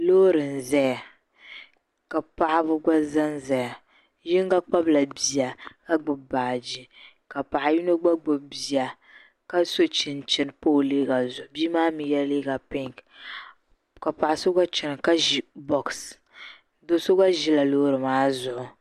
Loori n zaya ka paɣ'ba gba zan zaya bɛ yinga kpabila bia ka gbubi baaje ka paɣa yinga gba gbubi bia ka so chinchini pa o liiga zuɣu bia maa mi yɛla liiga pinŋ ka paɣ'so gba chana ka ʒi bosi do'so gba ʒila loori maa zuɣu.